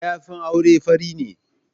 Mayafin auren fari ne.